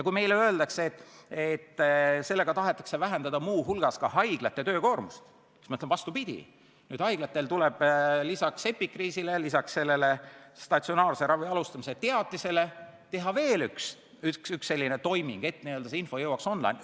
Kui meile öeldakse, et sellega tahetakse muu hulgas vähendada haiglate töökoormust, siis ma ütlen, et vastupidi, nüüd tuleb haiglatel lisaks epikriisile ja statsionaarse ravi alustamise teatisele teha veel üks toiming, et info jõuaks õigel ajal online'i.